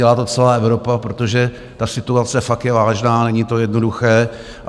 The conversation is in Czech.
Dělá to celá Evropa, protože ta situace fakt je vážná, není to jednoduché.